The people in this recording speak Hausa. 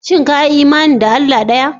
Shin ka yi imani da Allah ɗaya?